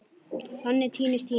Þannig týnist tíminn.